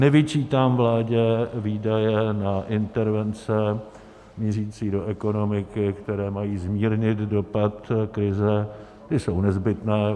Nevyčítám vládě výdaje na intervence mířící do ekonomiky, které mají zmírnit dopad krize, ty jsou nezbytné.